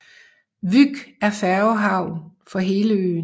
Vyk er færgehavn for hele øen